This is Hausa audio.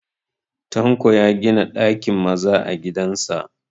Tanko ya gina ɗakin maza a gidan sa